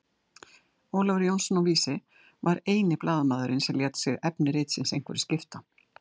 Ólafur Jónsson á Vísi var eini blaðamaðurinn sem lét sig efni ritsins einhverju skipta.